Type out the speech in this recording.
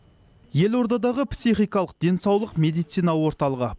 елордадағы психикалық денсаулық медицина орталығы